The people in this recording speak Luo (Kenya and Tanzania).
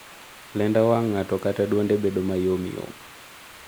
Lenda wang' ng'ato kata duonde bedo mayom yom.